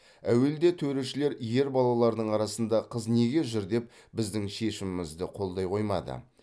әуелде төрешілер ер балалардың арасында қыз неге жүр деп біздің шешімімізді қолдай қоймады